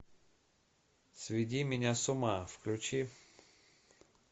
сведи меня с ума включи